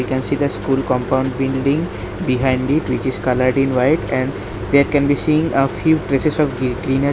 We can see the school compound building behind it which is coloured in white and there can be seen a few places of gree greena --